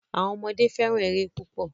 Awọn ọmọde fẹ́ràn ère púpò.